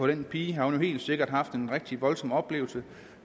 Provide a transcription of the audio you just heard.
den pige har jo helt sikkert haft en rigtig voldsom oplevelse